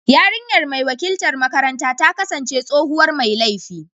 Yarinyar mai wakiltar makaranta ta kasance tsohuwar mai laifi.